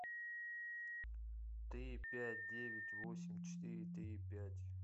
три пять девять восемь четыре три пять